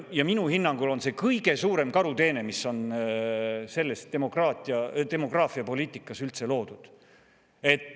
Ja minu hinnangul on see kõige suurem karuteene, mis on selles demograafiapoliitikas üldse tehtud.